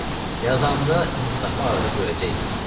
Söz yox ki, yazanda insafı arada görəcəksən.